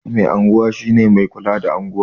Mai unguwa shi ne mai kula da unguwa